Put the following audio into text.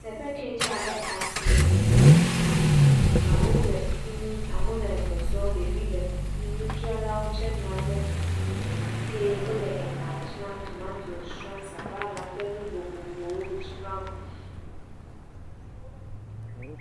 Teƒe kee dze abe asime nene, amewo le fi mi, amewo le zɔzɔm, ɖevi le fi mi, nudzralawo tsɛ nɔ anyi ɖe fi mi, eye wole elã dzram, tomatos dzram, sabala ƒe nu vovovowo dzram.